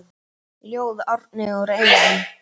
Ljóð: Árni úr Eyjum